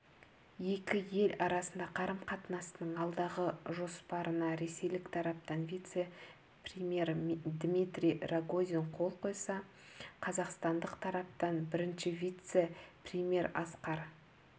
екі ел арасында қарым-қатынастың алдағы жоспарынаресейлік тараптан вице-премьер дмитрий рогозин қол қойса қазақстандық тараптан бірінші вице-премьер асқар